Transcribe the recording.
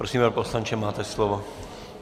Prosím, pane poslanče, máte slovo.